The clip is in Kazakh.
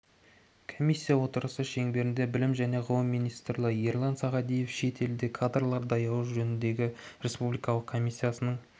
комиссия отырысы шеңберінде білім және ғылым министрі ерлан сағадиевтің шет елде кадрлар даярлау жөніндегі республикалық комиссияның